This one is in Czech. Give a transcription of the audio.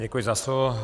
Děkuji za slovo.